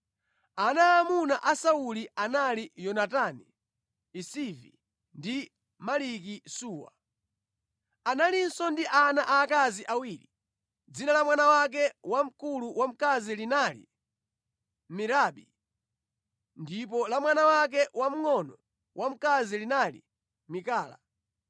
Ana aamuna a Sauli anali Yonatani, Isivi ndi Maliki-Suwa. Analinso ndi ana aakazi awiri, dzina la mwana wake wamkulu wamkazi linali Merabi ndipo la mwana wake wamngʼono wamkazi linali Mikala.